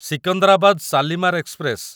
Secunderabad Shalimar express